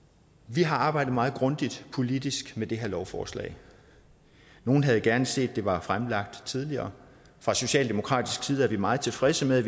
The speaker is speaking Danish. vi har arbejdet meget grundigt politisk med det her lovforslag nogle havde gerne set at det var blevet fremlagt tidligere fra socialdemokratisk side er vi meget tilfredse med at